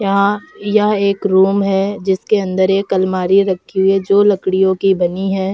यहाँ यह एक रूम है जिसके अंदर एक अलमारी रखी हुई है जो लकड़ियों की बनी है।